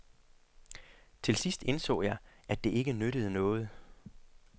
Til sidst indså jeg, at det ikke nyttede noget.